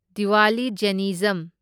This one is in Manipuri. ꯗꯤꯋꯥꯂꯤ ꯖꯦꯟꯅꯤꯖꯝ